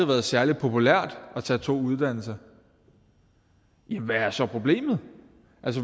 været særlig populært at tage to uddannelser hvad er så problemet